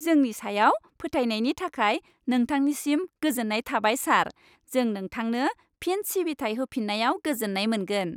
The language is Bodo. जोंनि सायाव फोथायनायनि थाखाय नोंथांनिसिम गोजोन्नाय थाबाय, सार। जों नोंथांनो फिन सिबिथाइ होफिन्नायाव गोजोन्नाय मोनगोन।